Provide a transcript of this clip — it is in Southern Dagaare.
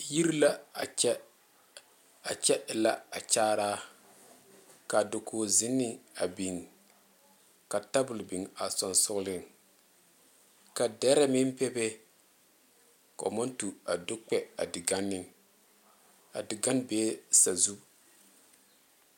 Yiri la a kyɛ a kyɛ e la bakyaaraa ka dakozenne a biŋ ka tabol biŋ a sonsoŋleŋ ka dɛrɛ meŋ bebe ka ba naŋ tu a do kpɛ a diganne a diganne bee sazu